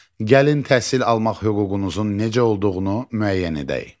Gəlin təhsil almaq hüququnuzun necə olduğunu müəyyən edək.